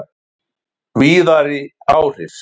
Víðari áhrif